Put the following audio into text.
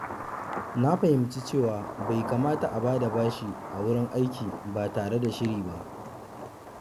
Na fahimci cewa bai kamata a bada bashi a wurin aiki ba tare da shiri ba.